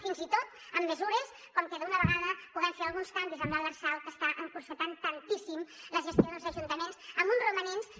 fins i tot amb mesures com que d’una vegada puguem fer alguns canvis en l’lrsal que està encotillant tant tantíssim la gestió dels ajuntaments amb uns romanents que